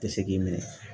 Tɛ se k'i minɛ